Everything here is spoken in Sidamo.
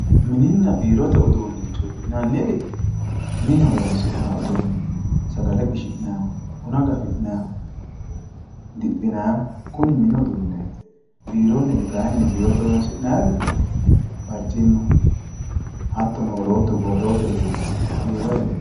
mininna biirote uduunicho yinanniri mine horonsi'nayii uduuni sagale qishinayiihub buna gafi'nayiihu diphinayiihu kuni mini uduuneeti biironniri kayiinni biirote horonsi'naayiiri barcimma hattono wolootu borrote uduuni biroyireeti.